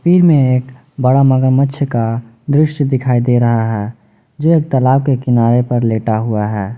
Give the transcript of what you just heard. में एक बड़ा मगरमच्छ का दृश्य दिखाई दे रहा है जो एक तालाब के किनारे पर लेटा हुआ है।